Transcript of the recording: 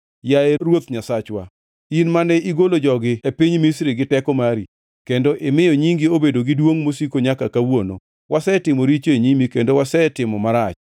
“Yaye Ruoth Nyasachwa, in mane igolo jogi e piny Misri gi teko mari, kendo imiyo nyingi obedo gi duongʼ mosiko nyaka kawuono, wasetimo richo e nyimi kendo wasetimo marach.